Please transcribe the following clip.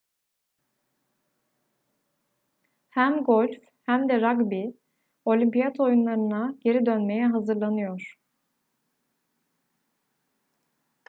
hem golf hem de ragbi olimpiyat oyunlarına geri dönmeye hazırlanıyor